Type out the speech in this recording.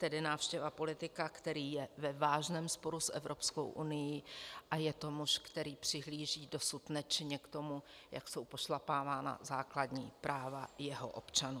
Tedy návštěva politika, který je ve vážném sporu s Evropskou unií a je to muž, který přihlíží dosud nečinně k tomu, jak jsou pošlapávána základní práva jeho občanů.